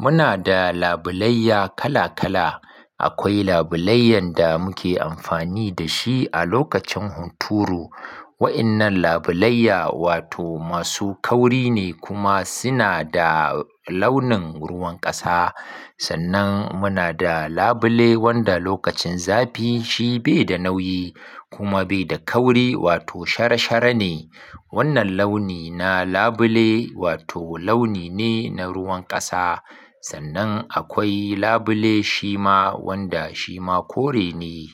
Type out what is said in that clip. Muna da labulayya kala-kala. Akwai labulayyan da muke amfani da shi a lokacin hunturu. Wa'innan labulayya wato masu kauri ne kuma suna da launin ruwan ƙasa. Sannan muna da labule wanda lokacin zafi shi bai da nauyi kuma bai da kauri wato shara-shara ne. Wannan launi na labule wato launi ne na ruwan ƙasa. Sannan akwai labule shima wanda shima kore ne.